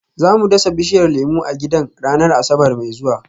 Za mu dasa bishiyar lemu a gidan ranar Asabar mai zuwa